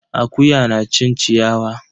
Akuya na cin ciyawa.